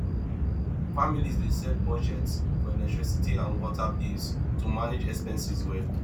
families dey set budgets for electricity and water bills to manage expenses well